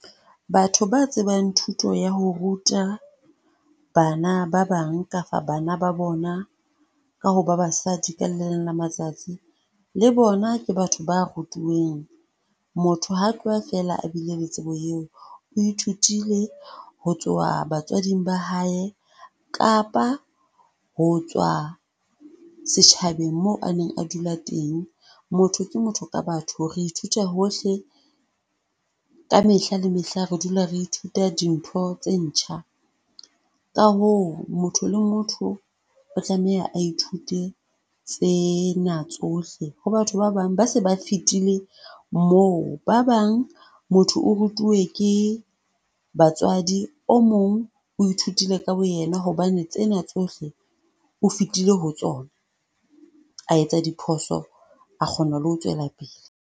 Batho ba tsebang thuto ya ho ruta bana ba bang kapa bana ba bona ka ho ba basadi, ka le leng la matsatsi. Le bona ke batho ba rutuweng. Motho ha tloha feela a bile le tsebo eo. O ithutile ho tswa batswading ba hae kapa ho tswa setjhabeng moo a neng a dula teng. Motho ke motho ka batho. Re ithuta hohle ka mehla le mehla re dula re ithuta dintho tse ntjha ka hoo motho le motho o tlameha a ithute tsena tsohle ho batho ba bang ba se ba fetile moo. Ba bang motho o rutuwe ke batswadi. O mong o ithutile ka bo yena hobane tsena tsohle o fetile ho tsona, a etsa diphoso, a kgona le ho tswela pele.